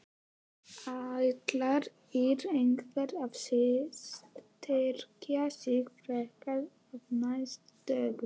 Ætlar ÍR eitthvað að styrkja sig frekar á næstu dögum?